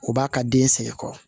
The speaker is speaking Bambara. U b'a ka den sɛgɛn kɔrɔ